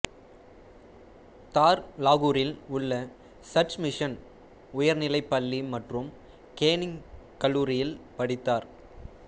தார் லாகூரில் உள்ள சர்ச் மிஷன் உயர்நிலைப் பள்ளி மற்றும் கேனிங் கல்லூரியில் படித்தார்